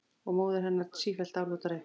Og móðir hennar sífellt álútari.